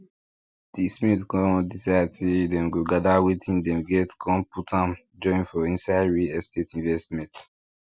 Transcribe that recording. di smith con decide say dem go gather wetin dem get con put am join for inside real estate investment